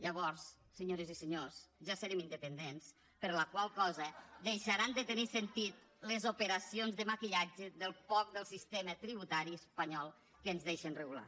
llavors senyores i senyors ja serem independents per la qual cosa deixaran de tenir sentit les operacions de maquillatge del poc del sistema tributari espanyol que ens deixen regular